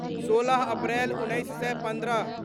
सोलह अप्रैल उन्नैस सए पन्द्रह